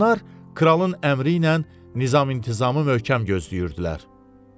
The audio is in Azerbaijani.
Onlar kralın əmri ilə nizam-intizamı möhkəm gözləyirdilər.